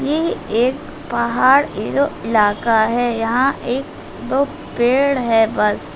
ये एक पहाड़ वाला इलाका है यहाँ एक दो पेड़ है बस।